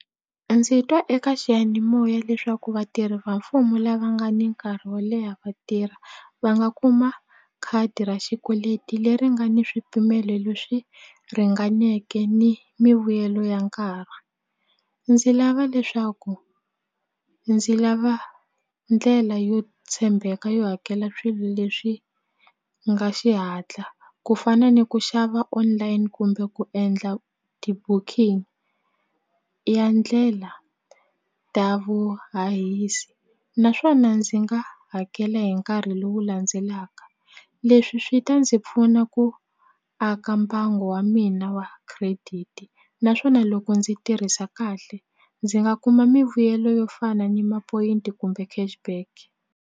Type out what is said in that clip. Ndzi twa eka xiyanimoya leswaku vatirhi va mfumo lava nga ni nkarhi wo leha va tirha va nga kuma khadi ra xikweleti leri nga ni swipimelo leswi ringaneke ni mivuyelo ya nkarhi ndzi lava leswaku ndzi lava ndlela yo tshembeka yo hakela swilo leswi nga xihatla ku fana ni ku xava online kumbe ku endla ti-booking ya ndlela ta vu hahisi naswona ndzi nga hakela hi nkarhi lowu landzelaka leswi swi ta ndzi pfuna ku aka mbangu wa mina wa credit naswona loko ndzi tirhisa kahle ndzi nga kuma mivuyelo yo fana ni ma-point kumbe cash back.